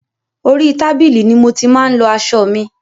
Orí tábìlì ni mo ti máa ń lọ aṣọ mi.